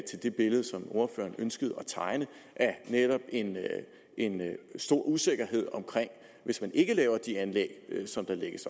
det billede som ordføreren ønskede at tegne af netop en stor usikkerhed hvis man ikke laver de anlæg som der lægges